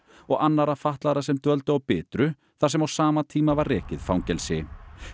og annarra fatlaðra sem dvöldu á Bitru þar sem á sama tíma var rekið fangelsi